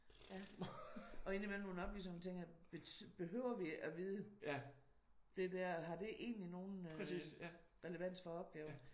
Ja og ind i mellem nogle oplysninger hvor man tænker behøver vi at vide det der? Har det egentlig nogen relevans for opgaven